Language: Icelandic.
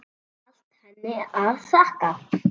Allt henni að þakka.